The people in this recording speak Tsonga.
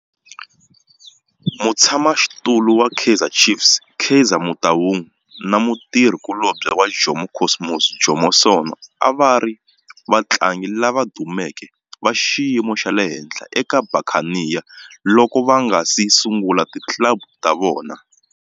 Mutshama xitulu wa Kaizer Chiefs Kaizer Motaung na mutirhi kulobye wa Jomo Cosmos Jomo Sono a va ri vatlangi lava dumeke va xiyimo xa le henhla eka Buccaneers loko va nga si sungula ti club ta vona.